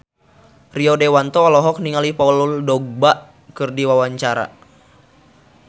Rio Dewanto olohok ningali Paul Dogba keur diwawancara